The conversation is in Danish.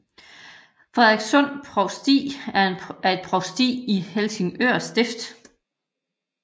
Frederikssund Provsti er et provsti i Helsingør Stift